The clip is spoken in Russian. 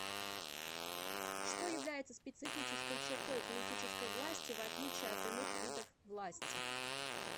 что является специфической чертой политической власти в отличие от иных видов власти